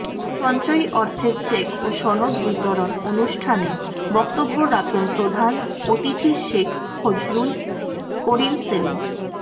সঞ্চয়ী অর্থের চেক ও সনদ বিতরণ অনুষ্ঠানে বক্তব্য রাখেন প্রধান অতিথি শেখ ফজলুল করিম সেলিম